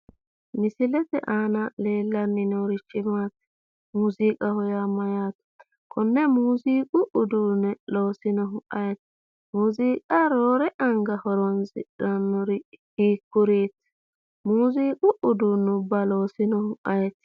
Misilete aana leellanni noorichi maati? Muuziiqaho yaa mayyaate? Konne muuziiqu uduunne loosinohu ayeeti? Muuziiqa roore anga horoonsidhannori hiikkuriiti? Muuziiqu uduunnubba loosinohu ayeeti?